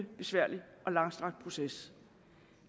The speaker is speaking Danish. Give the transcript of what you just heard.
besværlig og langstrakt proces